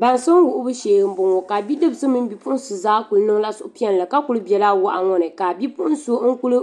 Baŋsim wuhibu shee n boŋɔ ka bipuɣunsi mini bidibsi zaa kuli bɛla wahi wabu ni ka kuli ka bipuɣun so kulu